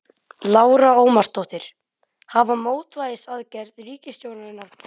Lára Ómarsdóttir: Hafa mótvægisaðgerðir ríkisstjórnarinnar brugðist?